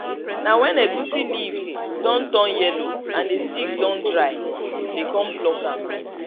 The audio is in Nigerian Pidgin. na when egusi leaves don turn yellow and the stick don dry dey con pluck am